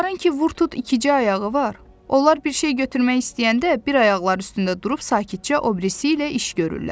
Onların ki, vurdu, ikicə ayağı var, onlar bir şey götürmək istəyəndə bir ayaqları üstündə durub sakitcə o birisi ilə iş görürlər.